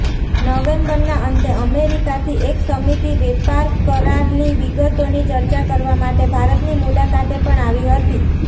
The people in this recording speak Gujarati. નવેમ્બરના અંતે અમેરિકાથી એક સમિતિ વેપારકરારની વિગતોની ચર્ચા કરવા માટે ભારતની મુલાકાતે પણ આવી હતી